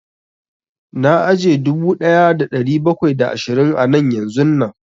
Na aje dubu ɗaya da ɗari bakwai da ashirin a nan yanzun nan